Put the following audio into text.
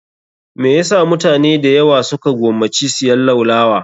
Me yasa mutane dayawa su ka gomaci siyan laulawa?